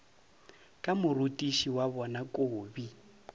ka morutiši wa bona kobi